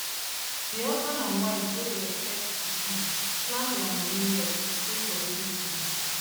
d husband and wife wey dey expect pikin plan dia money well to save for baby things